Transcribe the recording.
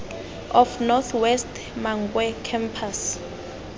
of north west mankwe campus